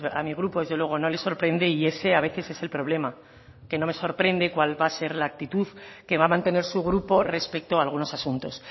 a mi grupo desde luego no le sorprende y ese a veces es el problema que no me sorprende cuál va a ser la actitud que va a mantener su grupo respecto a algunos asuntos